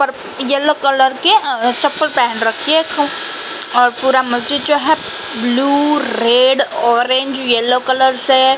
पर yellow colour के अ चप्पल पेहेन रखी हैं खूब और पूरा मस्जिद जो है blue red orange yellow colour से --